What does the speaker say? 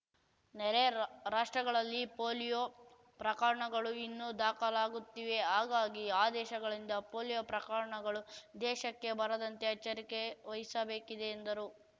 ನೆರೆ ರಾಷ್ಟ್ರಗಳಲ್ಲಿ ಪೋಲಿಯೋ ಪ್ರಕರಣಗಳು ಇನ್ನೂ ದಾಖಲಾಗುತ್ತಿವೆ ಹಾಗಾಗಿ ಆ ದೇಶಗಳಿಂದ ಪೋಲಿಯೋ ಪ್ರಕರಣಗಳು ದೇಶಕ್ಕೆ ಬರದಂತೆ ಎಚ್ಚರಿಕೆ ವಹಿಸಬೇಕಿದೆ ಎಂದರು